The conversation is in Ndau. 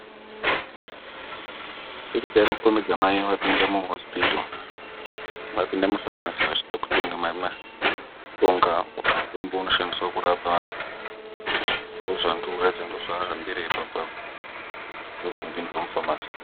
Pikicha irikukombidza mai vapinda muhosipito, vapinda mufamasi vachido kutenga mushonga, mutombo unoshandiswa kurapa vantu. Ndoozvandikuratidza, ndoozvahambira ipapa apo, ndoozvinopindirwa mufamasi.